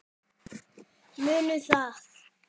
Munum það.